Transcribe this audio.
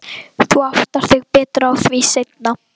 Þú áttar þig betur á því seinna.